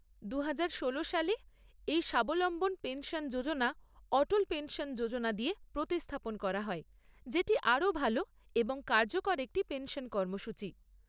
দুহাজার ষোলো সালে এই স্বাবলম্বন পেনশন যোজনা অটল পেনশন যোজনা দিয়ে প্রতিস্থাপন করা হয়, যেটি আরও ভালো এবং কার্যকর একটি পেনশন কর্মসূচী।